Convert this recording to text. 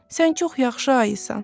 Sən çox yaxşı ayısan.